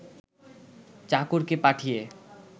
চাকরকে পাঠিয়ে